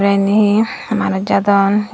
te eni he manus jadon.